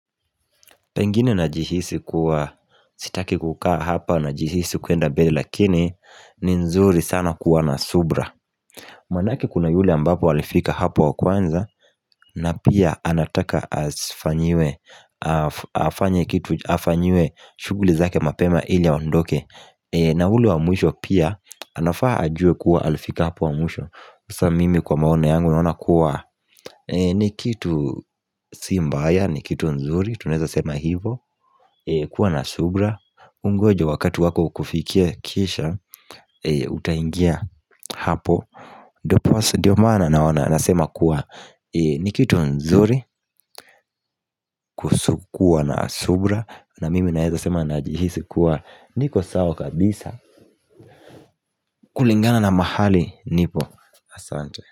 Pengine na jihisi kuwa sitaki kukaa hapa najihisi kuenda mbele lakini ni vizuri sana kuwa na subra Manake kuna yule ambapo alifika hapo wa kwanza na pia anataka afanyiwe shuguli zake mapema ili andoke na ule wa mwisho pia anafaa ajuwe kuwa alifika hapo wa mwisho sa mimi kwa maoni yangu naona kuwa ni kitu si mbaya ni kitu nzuri tunaeza sema hivo kuwa na subra Ungoje wakati wako ukufikie kisha Utaingia hapo diposa ndio maana naona nasema kuwa Nikitu nzuri Kuusu kuwa na subra na mimi naeza sema najihisi kuwa Nikosawa kabisa kulingana na mahali nipo Asante.